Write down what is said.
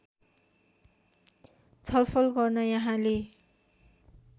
छलफल गर्न यहाँले